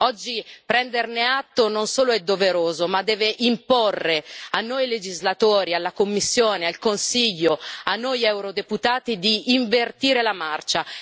Oggi prenderne atto non solo è doveroso, ma deve imporre a noi legislatori, alla Commissione, al Consiglio, a noi eurodeputati di invertire la marcia.